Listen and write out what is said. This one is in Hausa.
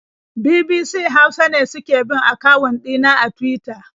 BBC Hausa ne suke bin akawun ɗina a Tuwita.